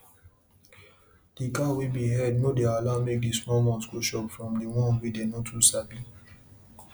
better animal house dey help protect the animals and go reduce watin fit make dem thief or make bush animal come attack dem for night